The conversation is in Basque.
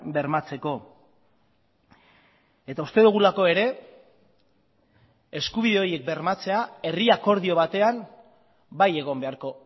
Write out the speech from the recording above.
bermatzeko eta uste dugulako ere eskubide horiek bermatzea herri akordio batean bai egon beharko